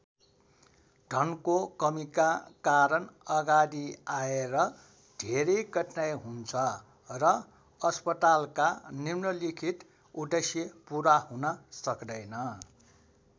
धनको कमीका कारण अगाडि आएर धेरै कठिनाइ हुन्छ र अस्पतालका निम्नलिखित उद्देश्य पूरा हुन सक्दैन।